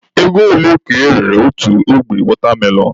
Ego ole ka erere otu ogbe wọtamelọn?